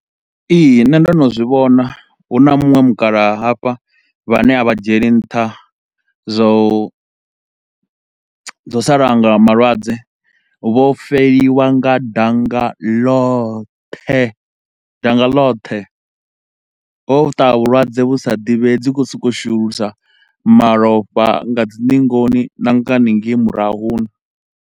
Ihi, nṋe ndo no zwi vhona, hu na munwe mukalaha hafha vhane a vha dzhieli nṱha zwa u, zwa u salanga malwadze. Vho feliwa nga danga lothe, danga lothe ho ṱaha vhulwadze vhu sa ḓivhei, dzi khou sokou shulusa malofha nga dzi ningoni na nga hanengei murahuni.